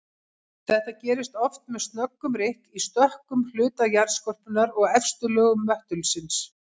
Þetta gerist oft með snöggum rykk í stökkum hluta jarðskorpunnar og efstu lögum möttulsins.